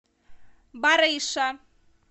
барыша